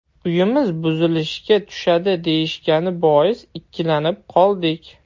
Uyimiz buzilishga tushadi deyishgani bois, ikkilanib qoldik.